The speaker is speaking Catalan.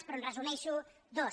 però en resumeixo dos